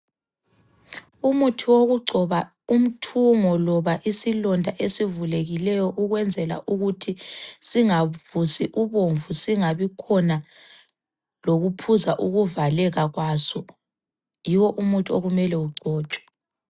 Umuthi wokugcoba umthungo loba isilonda esivulekileyo ukwenzela ukuthi singavuzi ubomvu singabikhona lokuphuza ukuvaleka kwaso, yiwo umuthi okumele ugcotshwe.